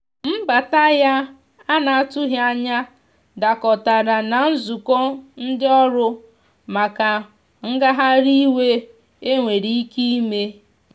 mbata ya ana atụghi anya dakọtara na nzụkọ ndi ọrụ maka ngahari iwe enwere ike ime.